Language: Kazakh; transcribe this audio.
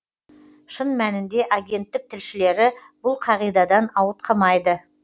шын мәнінде агенттік тілшілері бұл қағидадан ауытқымайды